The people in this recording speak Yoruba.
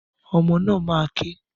Ọmọ náà máa ké.